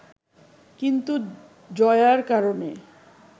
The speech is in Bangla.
কিন্তু জয়ার কারণে